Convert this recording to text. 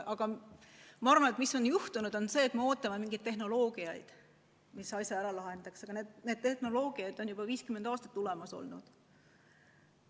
Aga minu arvates meil on juhtunud see, et me ootame mingeid tehnoloogiaid, mis asja ära lahendaks, aga need tehnoloogiad on juba 50 aastat olemas olnud.